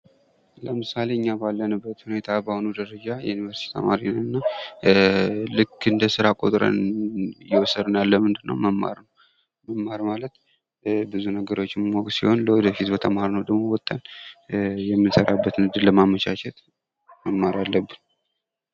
ለምሳሌ እኛ ባለንበት ሁኔታ ባለንበት ደረጃ ተማሪ ነንና እንደ ስራ ቆጥረን እየወሰድን ያለነው መማርን ነው ።መማር ማለት ብዙ ነገሮችን ማወቅ ሲሆን ወተን ምንሰራበትን እድል ለማመቻቸት መማር አለብን።